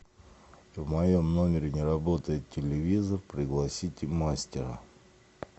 в моем номере не работает телевизор пригласите мастера